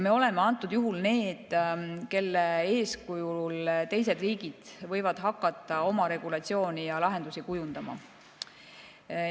Me oleme antud juhul need, kelle eeskujul teised riigid võivad hakata oma regulatsiooni ja lahendusi kujundama.